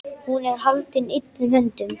Hún er haldin illum öndum.